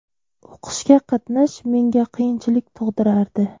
O‘qishga qatnash menga qiyinchilik tug‘dirardi.